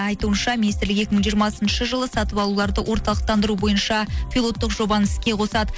айтуынша министрлік екі мың жиырмасыншы жылы сату алуларды орталықтандыру бойынша пилоттық жобаны іске қосады